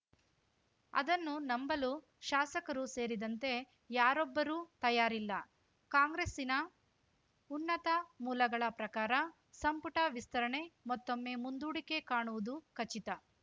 ಅದನ್ನು ನಂಬಲು ಶಾಸಕರು ಸೇರಿದಂತೆ ಯಾರೊಬ್ಬರೂ ತಯಾರಿಲ್ಲ ಕಾಂಗ್ರೆಸ್ಸಿನ ಉನ್ನತ ಮೂಲಗಳ ಪ್ರಕಾರ ಸಂಪುಟ ವಿಸ್ತರಣೆ ಮತ್ತೊಮ್ಮೆ ಮುಂದೂಡಿಕೆ ಕಾಣುವುದು ಖಚಿತ